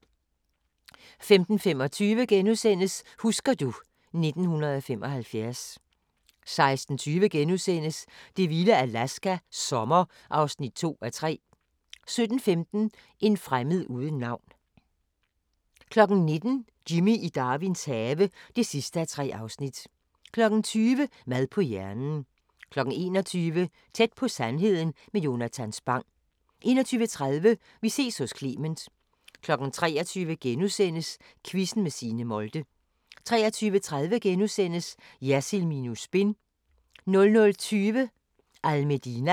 15:25: Husker du ... 1975 * 16:20: Det vilde Alaska – sommer (2:3)* 17:15: En fremmed uden navn 19:00: Jimmy i Darwins have (3:3) 20:00: Mad på hjernen 21:00: Tæt på sandheden med Jonatan Spang 21:30: Vi ses hos Clement 23:00: Quizzen med Signe Molde * 23:30: Jersild minus spin * 00:20: Al Medina